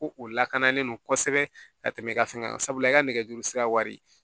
Ko o lakanalen don kosɛbɛ ka tɛmɛ i ka fɛn kan sabula i ka nɛgɛjuru sira wari